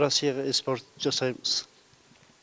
россияға экспорт жасаймыз